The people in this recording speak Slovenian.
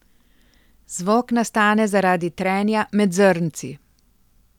Zvok nastane zaradi trenja med zrnci.